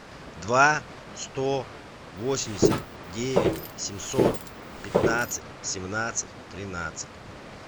два сто восемьдесят девять семьсот пятнадцать семнадцать тринадцать